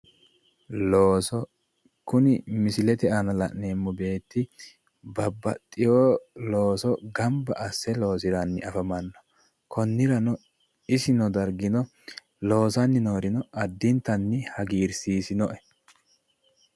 looso kuni misilete aana la'neemmo beetti babaxiwo looso ganba asse loosiranni afamanno konniranno isi noo dargino loosanni noorino addintanni hagiirsiisinoe.